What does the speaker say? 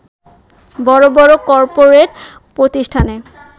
বড় বড় কর্পোরেট প্রতিষ্ঠানে